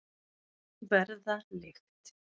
Verða lykt.